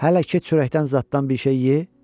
Hələ ki, çörəkdən zaddan bir şey yeyə.